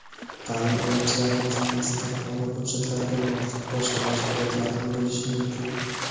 Ta’lim oluvchilarning zimmasida qonun hujjatlariga muvofiq boshqa majburiyatlar ham bo‘lishi mumkin.